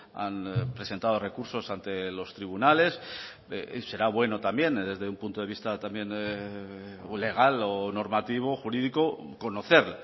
han presentado recursos ante los tribunales y será bueno también desde un punto de vista también legal o normativo jurídico conocer